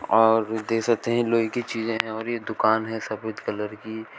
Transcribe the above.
और दे सकते हैं लोहे की चीजें हैं और ये दुकान है सफेद कलर की।